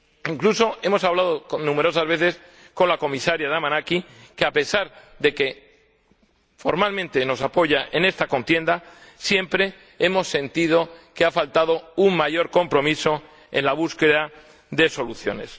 Incluso hemos hablado numerosas veces con la Comisaria Damanaki, pero, a pesar de que formalmente nos apoya en esta contienda, siempre hemos sentido que ha faltado un mayor compromiso en la búsqueda de soluciones.